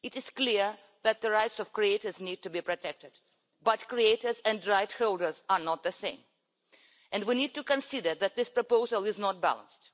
It is clear that the rights of creators need to be protected, but creators and rightholders are not the same and we need to consider that this proposal is not balanced.